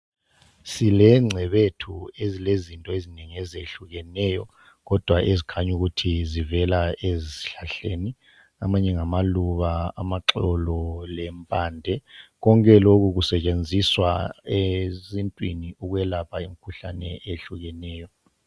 Sile ngcebethu ezile zinto ezinengi ezehlukeneyo kodwa ezikhanya ukuthi zivela ezihlahleni. Amanye ngamaluba, amaxolo lempande konke lokhu kusetshenziswa esintwini ukwelapha imkhuhlane ehlukeneyo.